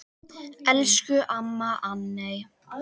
Elsku amma Anney.